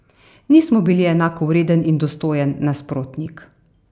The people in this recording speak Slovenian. Nismo bili enakovreden in dostojen nasprotnik.